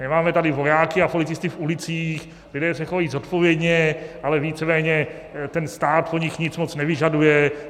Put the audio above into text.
Nemáme tady vojáky a policisty v ulicích, lidé se chovají zodpovědně, ale víceméně ten stát po nich nic moc nevyžaduje.